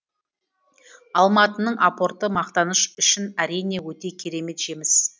алматының апорты мақтаныш үшін әрине өте керемет жеміс